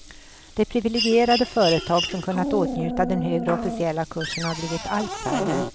De privilegierade företag som kunnat åtnjuta den högre officiella kursen har blivit allt färre.